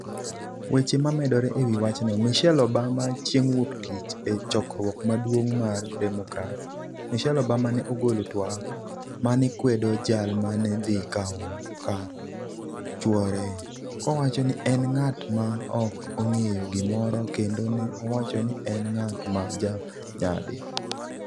weche momedore e wi wachno. Michelle Obama chieng' wuok tich e chokruok maduong' mar Democrats, Michelle Obama ne ogolo twak manekwedo jal mane dhi kawo kar chuore, kowacho ni en ng'at ma ok ong'eyo gimoro kendo ne owacho ni en ng'at ''ma ja nyadhi".